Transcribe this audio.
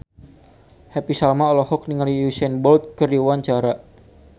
Happy Salma olohok ningali Usain Bolt keur diwawancara